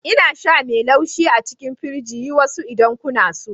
Ina sha mai laushi a cikin firiji. Yi wasu idan kuna so.